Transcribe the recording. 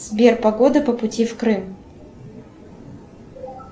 сбер погода по пути в крым